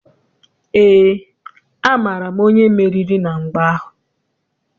Eé, amaara m onye meriri na mgba ahụ.